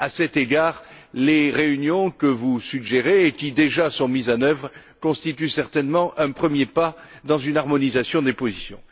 À cet égard, les réunions que vous suggérez et qui, déjà, sont mises en œuvre constituent certainement un premier pas dans une harmonisation des positions.